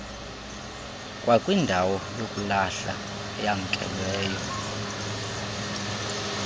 kwakwindawo yokulahla eyamkelweyo